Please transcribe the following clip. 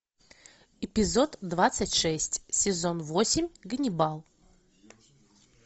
эпизод двадцать шесть сезон восемь ганнибал